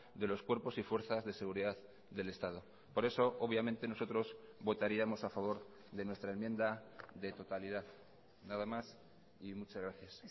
de los cuerpos y fuerzas de seguridad del estado por eso obviamente nosotros votaríamos a favor de nuestra enmienda de totalidad nada más y muchas gracias